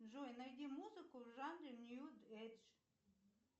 джой найди музыку в жанре нью эдж